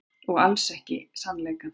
Og alls ekki sannleikann.